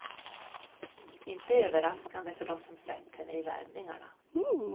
Inte överraskande för de som sett henne i värmningarna.